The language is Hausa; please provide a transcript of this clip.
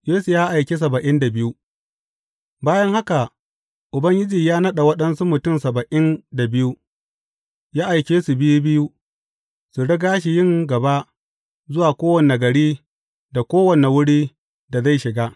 Yesu ya aiki saba’in da biyu Bayan haka, Ubangiji ya naɗa waɗansu mutum saba’in da biyu, ya aike su biyu biyu, su riga shi yin gaba zuwa kowane gari da kowane wuri da zai shiga.